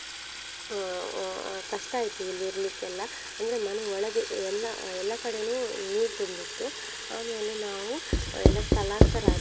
ಅಹ್ ಅಹ್ ಕಷ್ಟ ಆಯ್ತು ಇಲ್ಲಿ ಇರ್ಲಿಕ್ಕೆಲ್ಲ ಅಂದ್ರೆ ಮನೆ ಒಳಗೆ ಎಲ್ಲ ಎಲ್ಲ ಕಡೆನು ನೀರ್ ತುಂಬಿತ್ತು ಆಮೇಲೆ ನಾವು ಅಹ್ ಎಲ್ಲ ಸ್ಥಳಾಂತರ ಆದ್ವಿ.